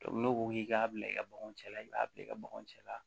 n'o ko k'i k'a bila i ka baganw cɛ la i b'a bila i ka baganw cɛ la